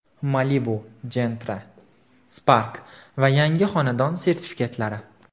Malibu, Gentra, Spark va yangi xonadon sertifikatlari.